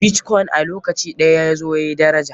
Bitkoin a lokaci ɗaya yazo yayi daraja.